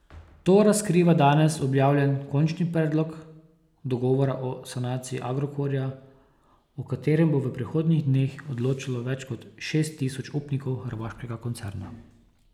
To razkriva danes objavljen končni predlog dogovora o sanaciji Agrokorja, o katerem bo v prihodnjih dneh odločalo več kot šest tisoč upnikov hrvaškega koncerna.